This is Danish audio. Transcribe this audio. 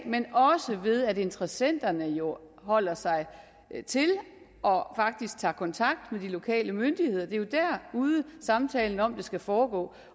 men også ved at interessenterne jo holder sig til og faktisk tager kontakt til lokale myndigheder det er derude samtalen om det skal foregå